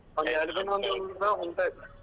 ನಿಂತ್ ಹೋಯ್ತ್ .